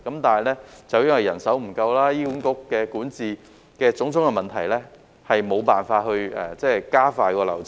但是，由於人手不足及醫院管理局管治的種種問題，以致無法加快流程。